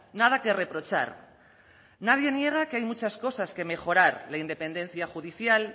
nada que reprochar nadie niega que hay muchas cosas que mejorar la independencia judicial